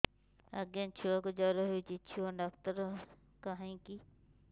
ଆଜ୍ଞା ଛୁଆକୁ ଜର ହେଇଚି ଛୁଆ ଡାକ୍ତର କାହିଁ କି